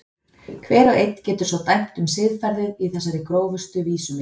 Hver og einn getur svo dæmt um siðferðið í þessari grófustu vísu minni.